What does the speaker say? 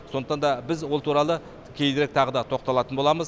сондақтан да біз ол туралы кейінірек тағы да тоқталатын боламыз